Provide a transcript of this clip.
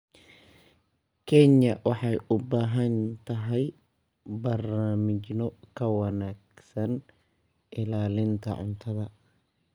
Kenya waxay u baahan tahay barnaamijyo ka wanaagsan ilaalinta cuntada.